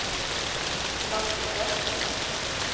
dansende